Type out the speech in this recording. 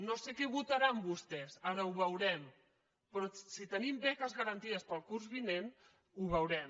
no sé què votaran vostès ara ho veurem però si tenim beques garanties per al curs vinent ho veurem